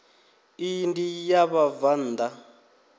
iyi ndi ya vhabvann ḓa